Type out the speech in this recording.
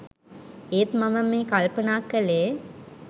ඒත් මම මේ කල්පනා කලේ